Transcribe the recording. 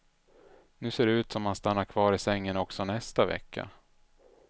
Nu ser det ut som att han stannar kvar i sängen också nästa vecka.